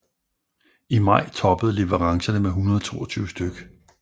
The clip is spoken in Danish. I maj toppede leverancerne med 122 stk